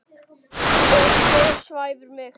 Og hver svæfir mig?